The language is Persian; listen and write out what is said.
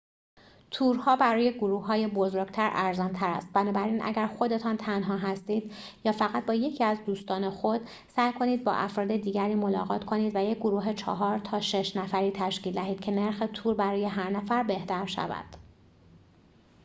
تورها برای گروههای بزرگتر ارزان تر است بنابراین اگر خودتان تنها هستید یا فقط با یکی از دوستان خود سعی کنید با افراد دیگری ملاقات کنید و یک گروه چهار تا شش نفری تشکیل دهید که نرخ تور برای هر نفر بهتر شود